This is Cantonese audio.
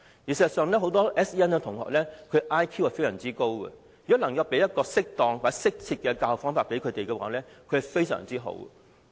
事實上，很多 SEN 學生的 IQ 也非常高，如果能提供適當或適切的教學方法，他們的表現和發展會非常好。